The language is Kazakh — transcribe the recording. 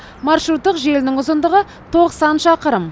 маршруттық желінің ұзындығы тоқсан шақырым